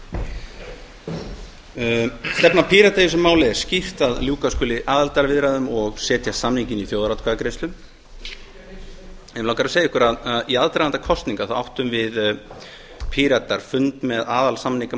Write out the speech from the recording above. stefna pírata í þessu máli er skýrt að ljúka skuli aðildarviðræðum og setja samninginn í þjóðaratkvæðagreiðslu mig langar að segja ykkur að í aðdraganda kosninga áttum við píratar fund með